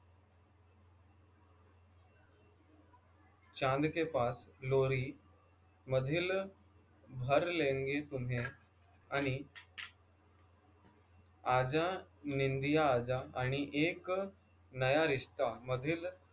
चाँद के पास लोरी मधील भर लेंगे तुम्हें आनी आजा निंदिया आजा आणि एक नया रिश्ता मधील